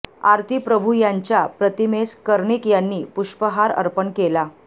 आरती प्रभू यांच्या प्रतिमेस कर्णिक यांनी पुष्पहार अर्पण केला